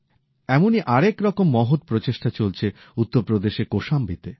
এমনই আরেক রকম মহৎ প্রচেষ্টা চলছে উত্তর প্রদেশের কোশাম্বীতে